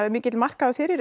mikill markaður fyrir